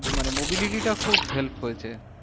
মানে mobility টা খুব help হয়েছে।